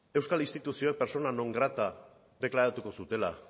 euskal instituzioek persona non grata deklaratuko zutela